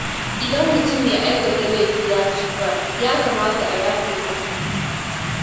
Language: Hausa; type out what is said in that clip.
Idan mutum mai aikata laifi ya tuba, ya kamata a yafe masa.